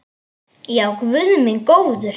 Já, guð minn góður.